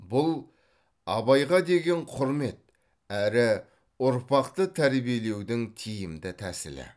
бұл абайға деген құрмет әрі ұрпақты тәрбиелеудің тиімді тәсілі